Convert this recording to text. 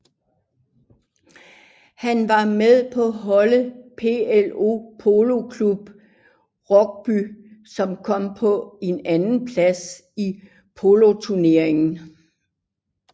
Han var med på holdet BLO Polo Club Rugby som kom på en andenplads i poloturneringen